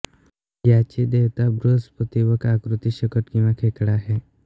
याची देवता बृहस्पती व आकृती शकट किंवा खेकडा आहे